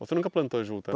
Você nunca plantou juta,